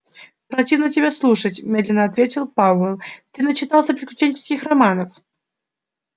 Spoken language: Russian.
противно тебя слушать медленно ответил пауэлл ты начитался приключенческих романов